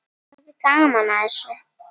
Það er gaman að þessu.